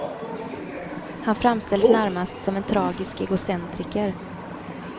Han framställs närmast som en tragisk egocentriker.